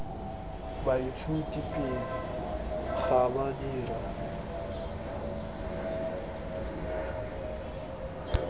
baithuti pele ga ba dira